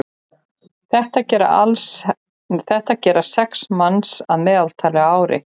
þetta gera sex manns að meðaltali á ári